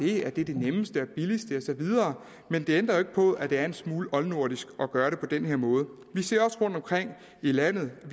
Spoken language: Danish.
det at det er det nemmeste og billigste og så videre men det ændrer jo ikke på at det er en smule oldnordisk at gøre det på den her måde vi ser også rundtomkring i landet at